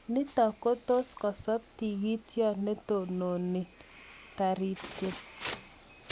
nitok kotus kosop tigitiot netononi taritiet